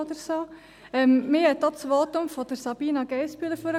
Mich hat auch das Votum von Sabina Geissbühler nach vorne geholt.